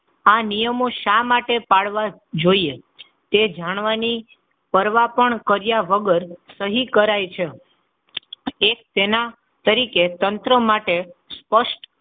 આ નિયમો શા માટે પાડવા જોઈએ? તે જાણવાની પરવા પણ કર્યા વગર સહી કરાઈ છે. એક તેના તરીકે તંત્રો માટે સ્પષ્ટ,